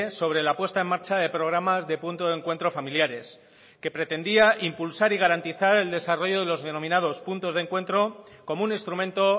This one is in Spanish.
sobre la puesta en marcha de programas de punto de encuentro familiares que pretendía impulsar y garantizar el desarrollo de los denominados puntos de encuentro como un instrumento